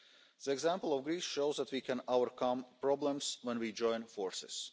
The example of Greece shows that we can overcome problems when we join forces.